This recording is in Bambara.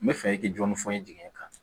N bɛ fɛ i k'i jɔni fɔ n ye jigin kan